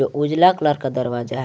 उजला कलर का दरवाजा है।